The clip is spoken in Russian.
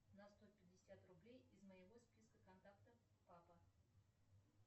на сто пятьдесят рублей из моего списка контактов папа